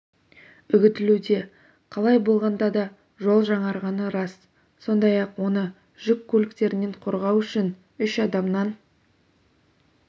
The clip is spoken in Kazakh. үгітілуде қалай болғанда да жол жаңарғаны рас сондай-ақ оны жүк көліктерінен қорғау үшін үш адамнан